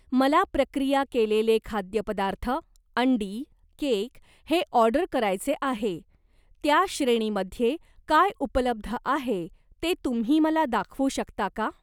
मला प्रक्रिया केलेले खाद्यपदार्थ, अंडी, केक हे ऑर्डर करायचे आहे, त्या श्रेणीमध्ये काय उपलब्ध आहे ते तुम्ही मला दाखवू शकता का?